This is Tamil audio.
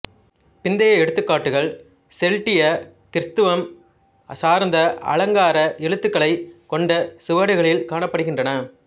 பிந்திய எடுத்துக்காட்டுகள் செல்ட்டியக் கிறித்தவம் சார்ந்த அலங்கார எழுத்துக்களைக் கொண்ட சுவடிகளில் காணப்படுகின்றன